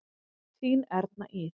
Þín Erna Ýr.